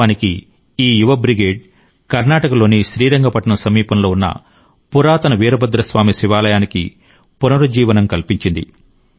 వాస్తవానికి ఈ యువ బ్రిగేడ్ కర్ణాటకలోని శ్రీరంగపట్నం సమీపంలోని ఉన్న పురాతన వీరభద్రస్వామి శివాలయానికి పునరుజ్జీవనం కల్పించింది